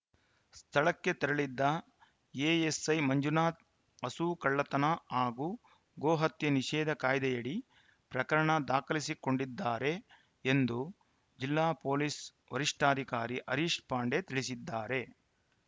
ಸ್ಥಳಕ್ಕೆ ತೆರಳಿದ್ದ ಎಎಸ್‌ಐ ಮಂಜುನಾಥ್‌ ಹಸು ಕಳ್ಳತನ ಹಾಗೂ ಗೋ ಹತ್ಯೆ ನಿಷೇಧ ಕಾಯ್ದೆಯಡಿ ಪ್ರಕರಣ ದಾಖಲಿಸಿಕೊಂಡಿದ್ದಾರೆ ಎಂದು ಜಿಲ್ಲಾ ಪೊಲೀಸ್‌ ವರಿಷ್ಠಾಧಿಕಾರಿ ಹರೀಶ್‌ ಪಾಂಡೆ ತಿಳಿಸಿದ್ದಾರೆ